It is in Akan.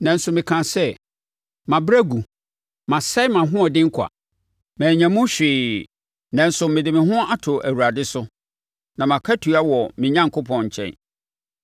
Nanso mekaa sɛ, “Mabrɛ agu masɛe mʼahoɔden kwa, mannya mu hwee nanso mede me ho ato Awurade so na mʼakatua wɔ me Onyankopɔn nkyɛn.”